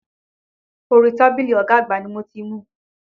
Orí tábìlì ọ̀gá àgbà ni mo ti mu.